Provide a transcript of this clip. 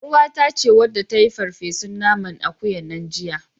ƳarUwata ce wadda ta yi farfesun nanan akuyan nan jiya.